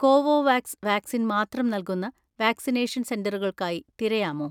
Covovax vaccine മാത്രം നൽകുന്ന vaccination സെന്ററുകൾക്കായി തിരയാമോ?